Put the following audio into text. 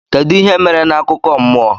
Kedu ihe mere na akụkọ mmụọ?